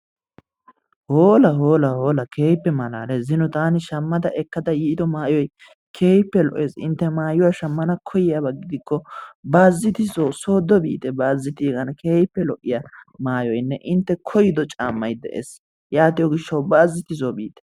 hoola! hoola! hoola! keehippe malaalees, zino taani shammada ekkada yiido maayyoy keehippe lo''essi intte maayuwaa shammana koyiyyaaba gidikko Baaziti soo sooddo biite, bayzziitegaan keehippe lo''iya maayonee intte koyyido caammay de'ees, yaatiyo gishshaw baazziti soo biite.